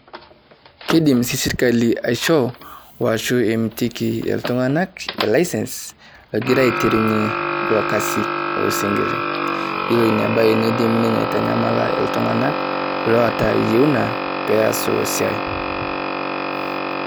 Keidim sirikali aishoo o ashuu emitiki e ltung'anak e lisence egira aiturunye lo kasi oo sinkirr. Yuoo nia baai neidim ninyee aaitanyamal ltung'ana lotaa yunaa pees lo siai.